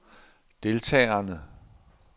deltagerne